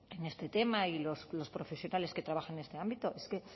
en este tema y los profesionales que trabajan en este ámbito es que